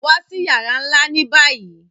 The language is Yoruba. Wa sí yàrà nlá ni báyìí!